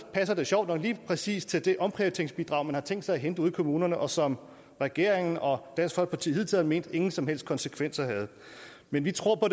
passer det sjovt nok lige præcis til det omprioriteringsbidrag man har tænkt sig at hente ude i kommunerne og som regeringen og dansk folkeparti hidtil har ment ingen som helst konsekvenser havde men vi tror på